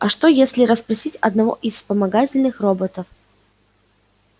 а что если расспросить одного из вспомогательных роботов